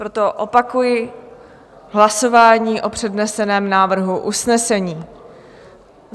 Proto opakuji hlasování o předneseném návrhu usnesení.